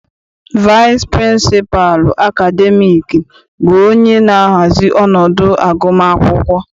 Vaịsị pịrịnsịpalụ akademiiki bụ onye na-ahazi ọnọdụ agụmakwụkwọ.